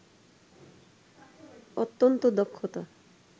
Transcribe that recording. অত্যন্ত দক্ষতা